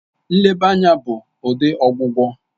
Nleba anya bụ ụdị ọgwụgwọ